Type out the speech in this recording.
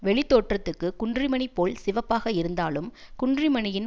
வெளித்தோற்றத்துக்குக் குன்றிமணி போல் சிவப்பாக இருந்தாலும் குன்றிமணியின்